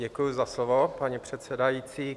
Děkuji za slovo, paní předsedající.